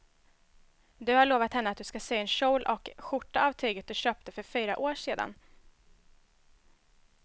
Du har lovat henne att du ska sy en kjol och skjorta av tyget du köpte för fyra år sedan.